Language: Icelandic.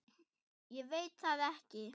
Ég veit það ekki